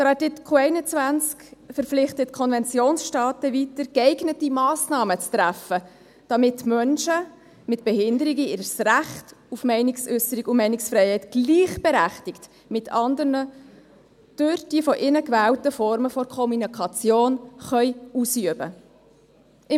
Artikel 21 verpflichtet die Konventionsstaaten weiter, geeignete Massnahmen zu treffen, damit Menschen mit Behinderungen ihr Recht auf Meinungsäusserung und Meinungsfreiheit «gleichberechtigt mit anderen und durch alle von ihnen gewählten Formen der Kommunikation […] ausüben können».